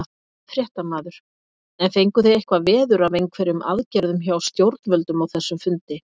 Fréttamaður: En fenguð þið eitthvað veður af einhverjum aðgerðum hjá stjórnvöldum á þessum fundi?